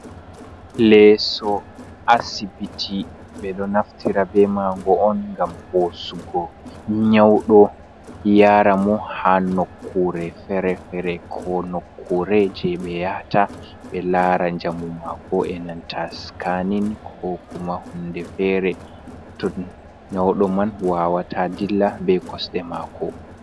Leeso asibiti ɓe ɗo naftira be maa go on ngam hosugo nyaudo yara mo ha nokkure fere-fere ko nokkure jei ɓe yahata ɓe lara njamu mako enanta skanin ko kuma hunde fere to nyauɗo man wawata dilla be kosɗe mako.